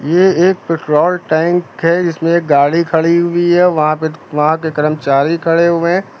ये एक petrol tank है इसमें गाड़ी खड़ी हुई है वहां पे वहां के कर्मचारी खड़े हुए है।